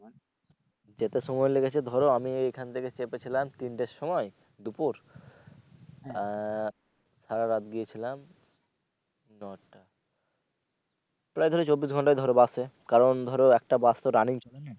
যেতে সময় লেগেছে ধরো আমি এখান থেকে চেপেছিলাম তিনটের সময় দুপুর আহ সারা রাতি গিয়েছিলাম নয়টা প্রায় ধরো চব্বিশ ঘন্টাই বাসে কারণ ধরো একটা বাস তো running চলে না।